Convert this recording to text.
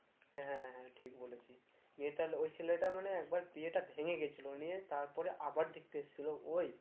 হ্যাঁ হ্যাঁ ঠিক বলেছিস নিয়ে তালে ওই ছেলেটা মানে একবার বিয়েটা ভেঙে গেছিল নিয়ে তার পরে আবার দেখতে এসেছিল ওই?